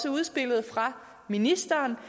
udspillet fra ministeren